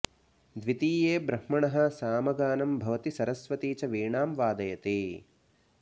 द्वितीये ब्रह्मणः सामगानं भवति सरस्वती च वीणां वादयति